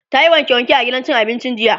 tayi wanke wanke a gidan cin abincin jiya.